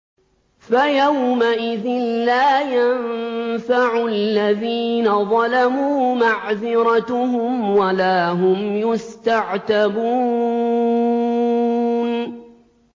فَيَوْمَئِذٍ لَّا يَنفَعُ الَّذِينَ ظَلَمُوا مَعْذِرَتُهُمْ وَلَا هُمْ يُسْتَعْتَبُونَ